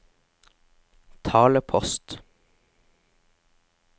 talepost